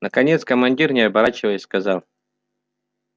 наконец командир не оборачиваясь сказал